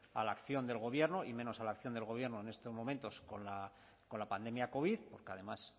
a la acción del gobierno y menos a la acción del gobierno en estos momentos con la pandemia covid porque además